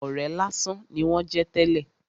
Ọ̀rẹ́ lásán ni wón jẹ́ tẹ́lè.